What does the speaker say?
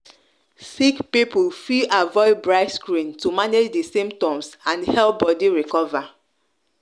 sick people fi avoid bright screen to manage di symptoms and help body recover